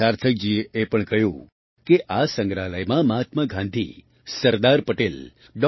સાર્થકજીએ એ પણ કહ્યું કે આ સંગ્રહાલયમાં મહાત્મા ગાંધી સરદાર પટેલ ડૉ